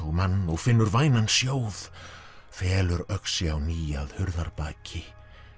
og mann og finnur vænan sjóð felur öxi á ný að hurðarbaki